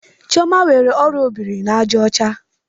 Chioma nwere orịa obiri-na-aja ocha?